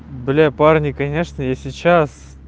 бля парня конечно я сейчас